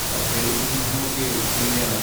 First aid സംവിധാനം ഒക്കെ എങ്ങനെയാണ്?